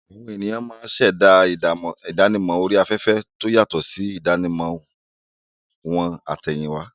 Àwọn ènìyàn ṣẹ̀dá ìdánimọ̀ orí afẹ́fẹ́ tó yàtọ̀ sí ìdánimọ̀ wọn àtẹ̀yìnwá.